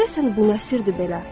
Görəsən bu nə sirdir belə?